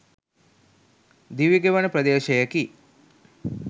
දිවි ගෙවන ප්‍රදේශයකි.